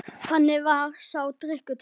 Þannig varð sá drykkur til.